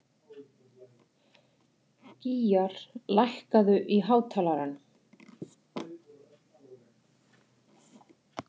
Gýgjar, lækkaðu í hátalaranum.